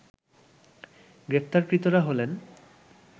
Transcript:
গ্রেপ্তারকৃতরা হলেন